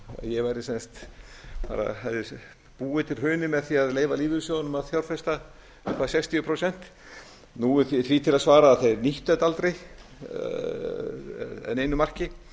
ég hefði sem sagt búið til hrunið með því að leyfa lífeyrissjóðunum að fjárfesta upp á sextíu prósent nú er því til að svara að þeir nýttu þetta aldrei að neinu marki